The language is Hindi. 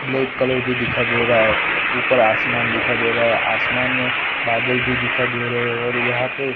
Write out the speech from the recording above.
ब्लैक कलर भी दिखाई दे रहा है ऊपर आसमान दिखाई दे रहा है आसमान में बादल भी दिखाई दे रहे हो और यहां पे--